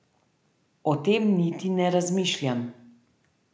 O tem niti ne razmišljam.